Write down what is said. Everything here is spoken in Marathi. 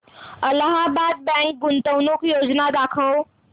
अलाहाबाद बँक गुंतवणूक योजना दाखव